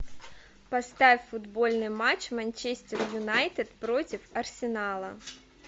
поставь футбольный матч манчестер юнайтед против арсенала